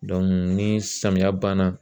ni samiyɛ banna